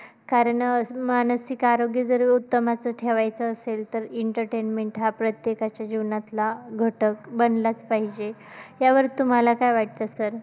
कारण मानसिक आरोग्य जर उत्तम असं ठेवायचं असेल तर entertainment हा प्रत्येकाच्या जीवनातला घटक बनलाच पाहिजे. त्यावर तुम्हाला काय वाटतं sir?